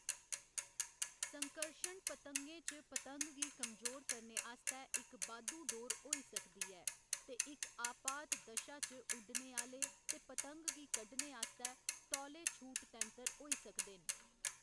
संकर्शण पतंगें च पतंग गी कमजोर करने आस्तै इक बाद्धू डोर होई सकदी ऐ ते इक आपात दशा च उड्डने आह्‌‌‌ले ते पतंग गी कढ़ने आस्तै तौले छूट तैंतर होई सकदे न।